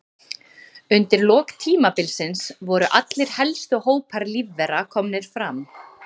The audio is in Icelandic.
Undir lok tímabilsins voru allir helstu hópar lífvera komnir fram.